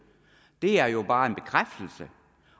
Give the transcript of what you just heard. det er jo bare en bekræftelse